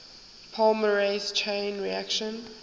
polymerase chain reaction